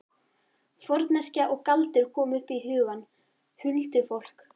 Forneskja og galdur komu upp í hugann. huldufólk.